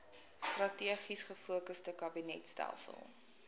strategies gefokusde kabinetstelsel